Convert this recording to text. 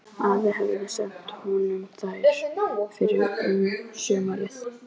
Afi hafði sent honum þær fyrr um sumarið.